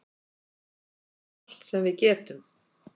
Allt sem við getum.